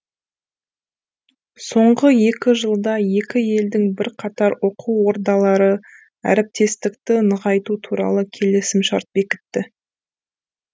соңғы екі жылда екі елдің бірқатар оқу ордалары әріптестікті нығайту туралы келісімшарт бекітті